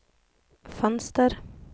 fönster